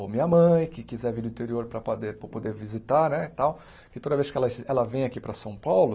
ou minha mãe, que quiser vir no interior para pader para poder visitar né e tal, que toda vez que ela ela vem aqui para São Paulo...